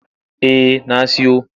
Eh na siyo.